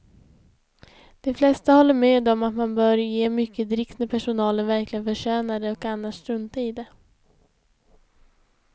De flesta håller med om att man bör ge mycket dricks när personalen verkligen förtjänar det och annars strunta i det.